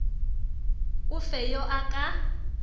o fe yo a ka